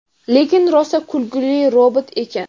Lekin rosa kulguli robot ekan.